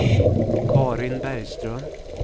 Carin Bergström